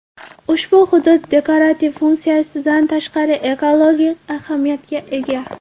Ushbu hudud dekorativ funksiyasidan tashqari ekologik ahamiyatga ega.